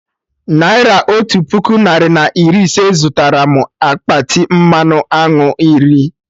Naira otu puku narị na iri ise zụtara mụ akpati mmanụ aṅụ iri